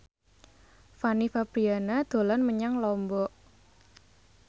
Fanny Fabriana dolan menyang Lombok